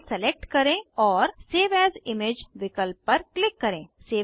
file select करें और save as image विकल्प पर क्लिक करें